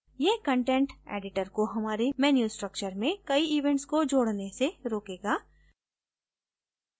यह content editor को हमारे menu structure में कई events को जोडने से रोकेगा